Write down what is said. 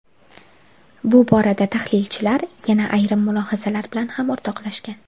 Bu borada tahlilchilar yana ayrim mulohazalar bilan ham o‘rtoqlashgan.